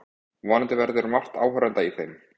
Vonandi verður margt áhorfenda í þeim